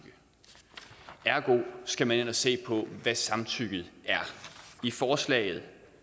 ergo skal man ind og se på hvad samtykket er i forslaget